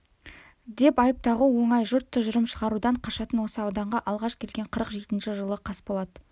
деп айып тағу оңай жұрт тұжырым шығарудан қашатын осы ауданға алғаш келген қырық жетінші жылы қасболат